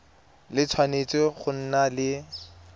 le tshwanetse go nna le